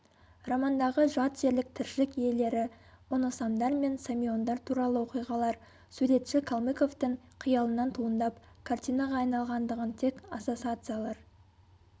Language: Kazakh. романдағы жат жерлік тіршілік иелері оносамдар мен самиондар туралы оқиғалар суретші калмыковтың қиялынан туындап картинаға айналғандығын тек ассосациялар